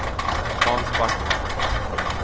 Hans Backman